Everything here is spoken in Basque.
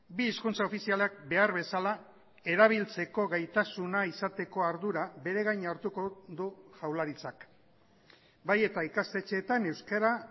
bi hizkuntza ofizialak behar bezala erabiltzeko gaitasuna izateko ardura beregain hartuko du jaurlaritzak bai eta ikastetxeetan euskara